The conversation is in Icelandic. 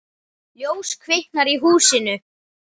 Ljós kviknar í húsinu.